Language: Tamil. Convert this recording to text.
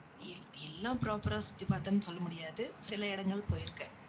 எல்~ எல்லாம் proper ஆ சுத்தி பார்த்தேன்னு, சொல்ல முடியாது. சில இடங்கள் போயிருக்கேன்